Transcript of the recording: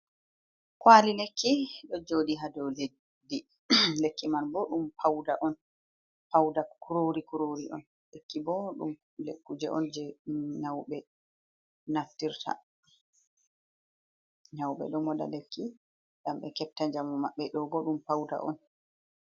Kwali lekki ɗo jooɗi ha dou leddi, lekki man bo ɗum pauda kurori kurori on, lekki bo ɗum kuje on jei nyauɓe naftirta nyauɓe ɗo moɗa lekki ngam ɓe hefta njamu maɓɓe ɗo bo ɗum pauda on.